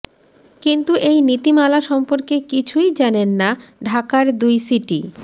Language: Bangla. কিন্তু এই নীতিমালা সম্পর্কে কিছুই জানেন না ঢাকার দুই সিটি